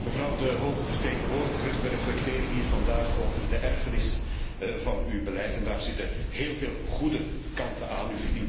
Mevrouw de hoge vertegenwoordiger, wij reflecteren hier vandaag over de erfenis van uw beleid en daar zitten heel veel goede kanten aan.